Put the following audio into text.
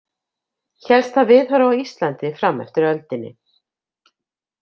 Hélst það viðhorf á Íslandi fram eftir öldinni.